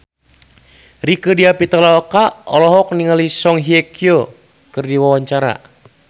Rieke Diah Pitaloka olohok ningali Song Hye Kyo keur diwawancara